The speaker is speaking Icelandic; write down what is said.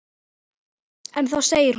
En þá segir hún